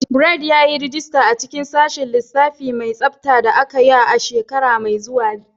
Bright, yi rajista a cikin Sashin Lissafi mai Tsafta da Aiyuka a shekara mai zuwa.